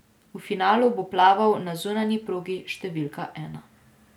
V finalu bo plaval na zunanji progi številka ena.